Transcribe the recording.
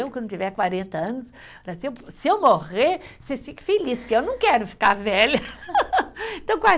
Eu, quando tiver quarenta anos, se eu, se eu morrer, vocês fiquem feliz, porque eu não quero ficar velha.